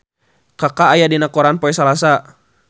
Kaka aya dina koran poe Salasa